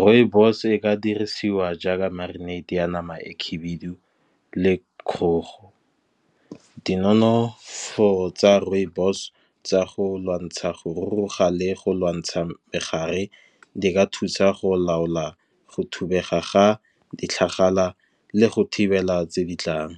Rooibos e ka dirisiwa jaaka marinate ya nama e khubidu, le kgogo. Di nonofo tsa rooibos tsa go lwantsha go ruruga le go lwantsha megare, di ka thusa go laola go thubega ga di tlhagala, le go thibela tse ditlang.